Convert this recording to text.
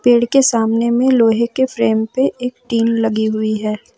पेड़ के सामने में लोहे के फ्रेम पे एक टीन लगी हुई है।